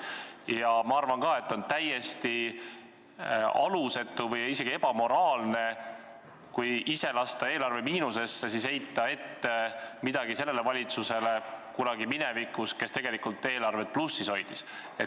Ja minagi arvan, et on täiesti alusetu või isegi ebamoraalne ise eelarvet miinusesse lastes midagi ette heita kunagisele valitsusele, kes tegelikult eelarvet plussis hoidis.